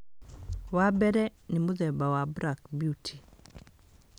Wa mbere nĩ mũthemba wa black beauty